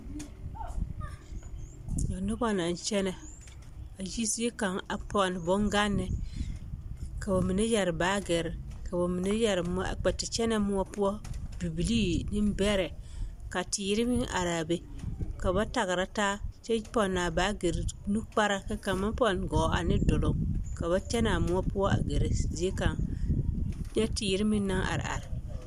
Nyɛ noba naŋ kyɛnɛ a yi zie kaŋa a pɔnne boŋganne ka ba mine yɛre baagiri ka bamine yɛre kpɛ te kyɛnɛ moɔ poɔ bibilii nembɛrɛ ka teere meŋ araa be ka ba tagera taa kyɛ pɔnnaa baagiri nukpara ka kaŋ maŋ pɔnne gɔɔ ane duluŋ ka ba kyɛnɛ a moɔ poɔ a gɛrɛ zie kaŋ nyɛ teere meŋ naŋ are are.